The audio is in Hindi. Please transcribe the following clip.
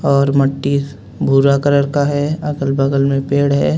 ओर मट्टी भूरा कलर का हे अगल बगल में पेड़ है.